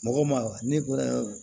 Mɔgɔ ma wa ne ko